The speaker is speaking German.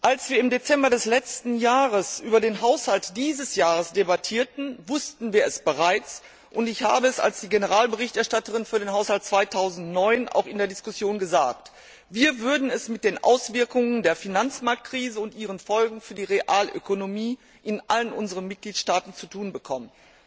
Als wir im Dezember des letzten Jahres über den Haushalt dieses Jahres debattierten, wussten wir es bereits, und als Generalberichterstatterin für den Haushalt 2009 habe ich es auch in der Diskussion gesagt Wir würden es mit den Auswirkungen der Finanzmarktkrise und ihren Folgen für die Realökonomie in allen unseren Mitgliedstaaten zu tun bekommen.